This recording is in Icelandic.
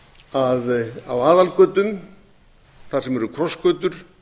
að á aðalgötum þar sem eru krossgötur